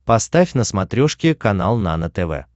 поставь на смотрешке канал нано тв